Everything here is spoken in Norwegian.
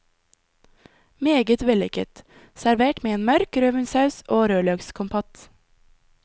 Meget vellykket, servert med en mørk rødvinssaus og rødløkskompott.